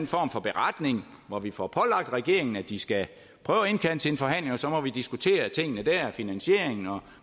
form for beretning hvor vi får pålagt regeringen at de skal prøve at indkalde til en forhandling og så må vi diskutere tingene finansieringen og